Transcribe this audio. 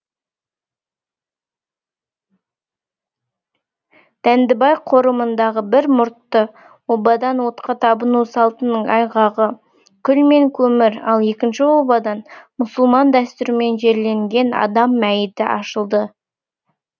дәндібай қорымындағы бір мұртты обадан отқа табыну салтының айғағы күл мен көмір ал екінші обадан мұсылман дәстүрімен жерленген адам мәйіті ашылды